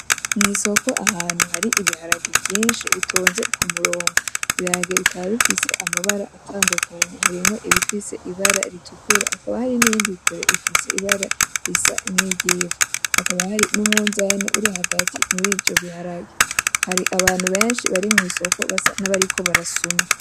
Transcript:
Mwisoko ahantu hari ibiharage vyinshi bitonze kumurongo ibiharage bikaba bifise amabara atandukanye harimwo ibifise ibara ritukura hakaba hari n'ibindi bifise ibara risa nkiry'ivu hakaba hari numwunzane urihagati murivyo biharage hari abantu benshi bari mwisoko basa nabariko barasuma .